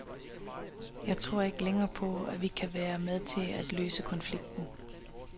Jeg tror ikke længere på, at vi kan være med til at løse konflikten.